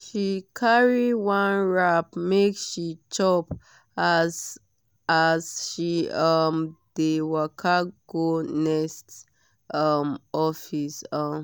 she carry one wrap make she chop as as she um dey waka go next um office. um